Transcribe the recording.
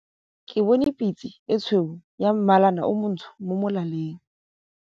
Ke bone pitse e tshweu ya mmalana o montsho mo molaleng.